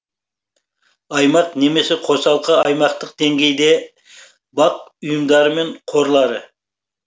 аймақ немесе қосалқы аймақтық деңгейде бақ ұйымдары мен қорлары